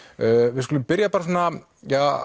við skulum byrja bara svona ja